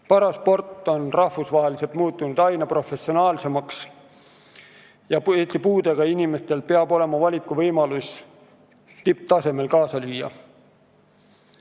Parasport on rahvusvaheliselt aina professionaalsemaks muutunud ja puudega inimestel peab olema valikuvõimalusi, et tipptasemel kaasa lüüa.